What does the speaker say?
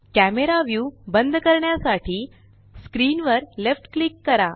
camera view बंद करण्यासाठी screen वर लेफ्ट क्लिक करा